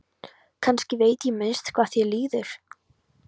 Kannski veit ég minnst hvað þér líður.